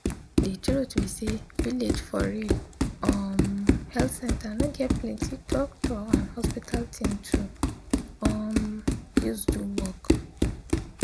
de truth be say village for real um health center no get plenti doctor and hospital thing to um use do work.